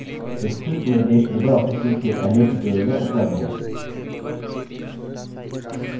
विस्तृत निर्देश libreoffice suite के पहले tutorial में उपलब्ध हैं